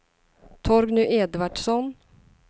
Torgny Edvardsson